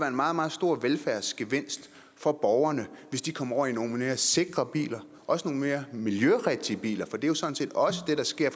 en meget meget stor velfærdsgevinst for borgerne hvis de kom over i nogle mere sikre biler også nogle mere miljørigtige biler for det er jo sådan set også det der sker